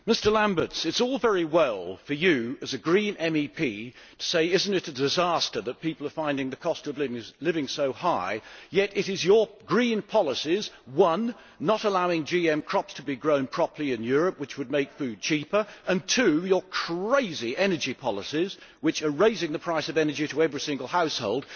Mr Lamberts, it is all very well for you, as a Green MEP, to say that it is a disaster that people are finding the cost of living so high, yet it is your green policies firstly, not allowing GM crops to be grown properly in Europe, which would make food cheaper and, secondly, your crazy energy policies which are raising the price of energy to every single household.